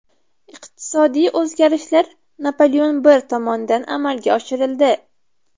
Iqtisodiy o‘zgarishlar Napoleon I tomonidan amalga oshirildi.